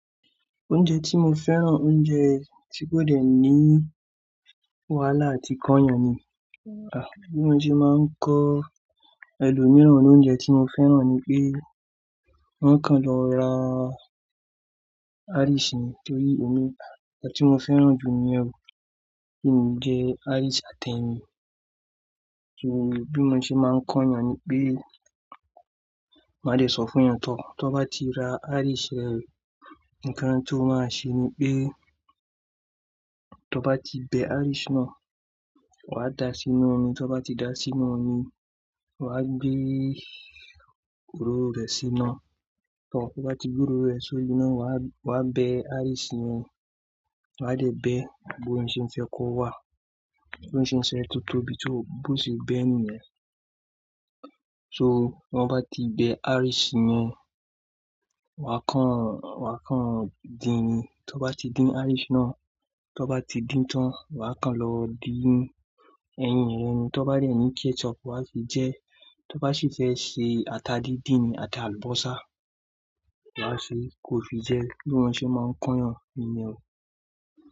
Oúnjẹ tí mo fẹ́ràn, oúnjẹ tí kò dẹ̀ ní wàhálà àti kan yàn ni. Bí mo ṣe máa ń kọ ẹlòmíràn ní oúnjẹ tí mo fẹ́ràn ni pé, wọ́n kàn lọ ra Irish ni torí emi nkan tí mo fẹ́ràn jù ni yen o, kí n jẹ Irish àti ẹyin. Bí mo ṣe máa ń kán yàn ni pé, máa dẹ̀ sọ fún yàn tó, tó bá ti ra Irish rẹ, nǹkan tí ó máa ṣe ni pé, tó bá ti bẹ Irish náà, wàá da sínú omi, tó bá ti da sínú omi, wàá gbé òróró rẹ sína. Tó to bá ti gbé epo rẹ sórí náà, wàá, wàá bẹ Irish yẹn, wàá dẹ̀ bẹ bí o n se fẹ́ kó wà, bí on se se fẹ́ tó tóbi tó, bó ṣe bẹ ni yen. So wọ́n bá ti bẹ Irish yẹn, wàá kan, wàá kan din ni. Tó bá ti din Irish náà, tó bá ti dín tán, wà á kan lọ din ẹyin rẹ ni. Tó bá de ni ketchup wàá fi jẹ ẹ́. Tó bá sì fẹ́ ṣe ata díndín ni àti àlùbọ́sà, wà á ṣe kó fi jẹ ẹ́. Bí wọn ṣe máa ń kán yàn ni yen o.